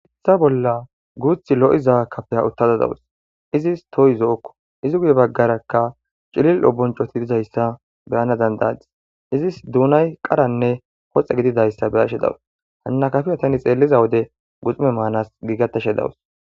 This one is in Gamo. issa bolla guuth lo7iza kafeya uttada dawus izis toyi zo7okko izi gude baggarakka cilil oboncoti dizayssa beyana dandadis izis duunay qaranne hoxe gididayssa be ashe dawus hanna kafiya tani xeelliza wode guxume maanas giigatashe dawus